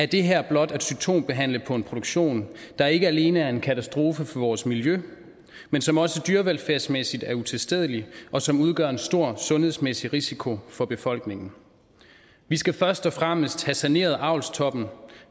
det her blot at symptombehandle på en produktion der ikke alene er en katastrofe for vores miljø men som også dyrevelfærdsmæssigt er utilstedeligt og som udgør en stor sundhedsmæssig risiko for befolkningen vi skal først og fremmest have saneret avlstoppen